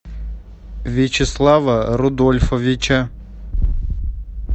вячеслава рудольфовича